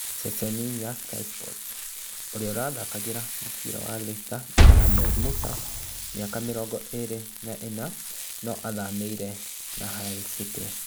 (Ceceni ya Sky sports) urĩa ũtharĩkagĩra mũbira Leicester city Ahmed Musa miaka mĩrongo ĩrĩ na inya, no athamĩre na Hull city